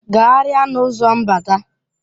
Gagharịa n'ọnụ ụzọ mbata!